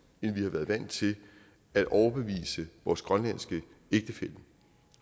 end vi har været vant til at overbevise vores grønlandske ægtefælle